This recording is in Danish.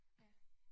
Ja